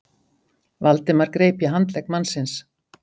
Valdimar greip í handlegg mannsins.